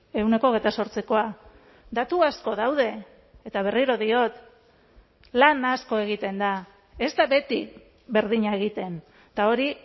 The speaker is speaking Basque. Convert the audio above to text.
ehuneko hogeita zortzikoa datu asko daude eta berriro diot lan asko egiten da ez da beti berdina egiten eta hori